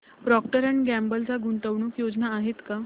Procter and Gamble च्या गुंतवणूक योजना आहेत का